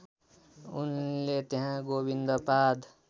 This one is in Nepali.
उनले त्यहाँ गोविन्दपाद